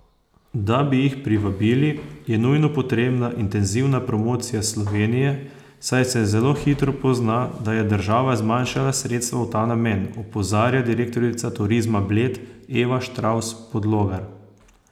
Da bi jih privabili, je nujno potrebna intenzivna promocija Slovenije, saj se zelo hitro pozna, da je država zmanjšala sredstva v ta namen, opozarja direktorica Turizma Bled Eva Štravs Podlogar.